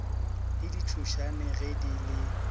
le ditšhošane ge di le